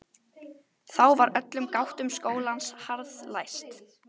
Þá var öllum gáttum skólans harðlæst.